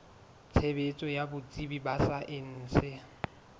tshebetso ya botsebi ba saense